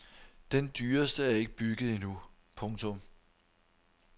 Den dyreste er ikke bygget endnu. punktum